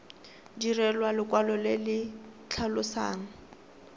direlwa lekwalo le le tlhalosang